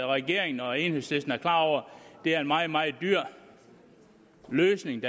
regeringen og enhedslisten er klar over at det er en meget meget dyr løsning